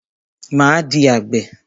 Máa di àgbè.